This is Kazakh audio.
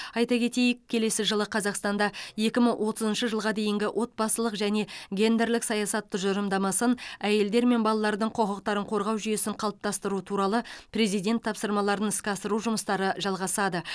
айта кетейік келесі жылы қазақстанда екі мың отызыншы жылға дейінгі отбасылық және гендерлік саясат тұжырымдамасын әйелдер мен балалардың құқықтарын қорғау жүйесін қалыптастыру туралы президент тапсырмаларын іске асыру жұмыстары жалғасады